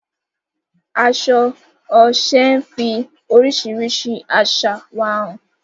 Aṣọ Oṣé ń fi oríṣiríṣi àṣà wa hàn.